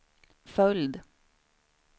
följd